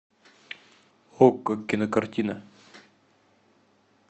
окко кинокартина